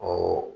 Ɔ